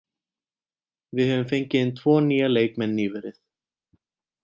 Við höfum fengið inn tvo nýja leikmenn nýverið.